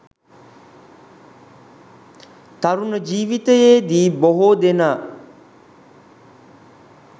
තරුණ ජීවිතයේදී බොහෝ දෙනා